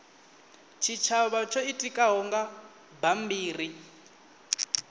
tshitshavha tsho itikaho nga bammbiri